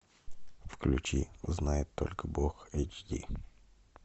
включи знает только бог эйч ди